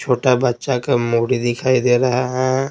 छोटा बच्चा का मूडी दिखाई दे रहा है।